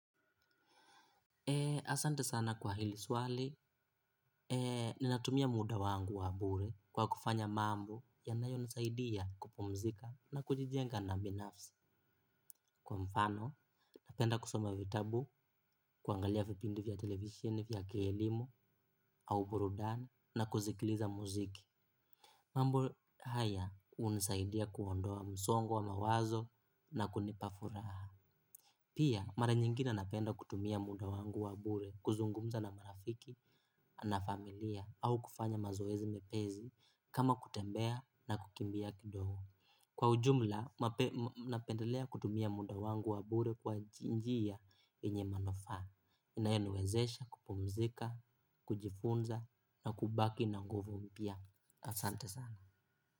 Asante sana kwa hili swali natumia muda wangu wa bure kwa kufanya mambo yanayonisaidia kupumzika na kujijenga kibinafsi kwa mfano, napenda kusoma vitabu, kuangalia vipindi vya television vya kielimu au burudani na kusikiliza muziki. Mambo haya hunisaidia kuondoa msongo wa mawazo na kunipa furaha. Pia, mara nyingine napenda kutumia muda wangu wa bure kuzungumza na marafiki, na familia, au kufanya mazoezi mepesi kama kutembea na kukimbia kidogo. Kwa ujumla, napendelea kutumia muda wangu wa bure kwa njia yenye manufaa. Inayeniwezesha kupumzika, kujifunza, na kubaki na nguvu mpya. Asante sana.